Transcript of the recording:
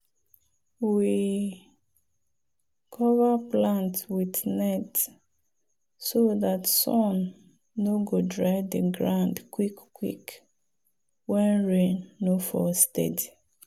we cover plant with net so dat sun no go dry the ground quick quick when rain no fall steady.